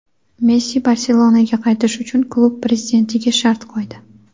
Messi "Barselona"ga qaytish uchun klub prezidentiga shart qo‘ydi;.